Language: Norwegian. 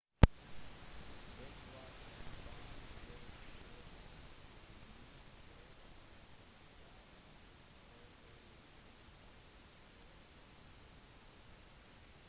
«det var en varm dag på rundt 90 grader i santa clara» fortalte brannkaptein scott kouns